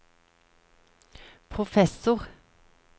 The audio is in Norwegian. professor